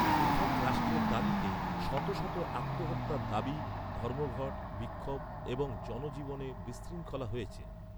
পৃথক রাষ্ট্রের দাবিতে, শত শত আত্মহত্যার দাবি, ধর্মঘট, বিক্ষোভ এবং জনজীবনে বিশৃঙ্খলা হয়েছে।